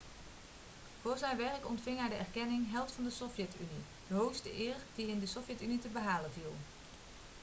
voor zijn werk ontving hij de erkenning held van de sovjet-unie' de hoogste eer die in de sovjet-unie te behalen viel